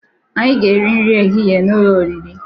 Anyị ga̧-eri nri ehihe n'ụlọ oriri.